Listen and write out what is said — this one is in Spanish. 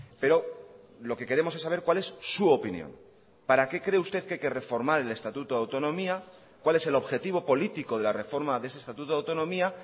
pero lo que queremos es saber cuál es su opinión para qué cree usted que hay que reformar el estatuto de autonomía cuál es el objetivo político de la reforma de ese estatuto de autonomía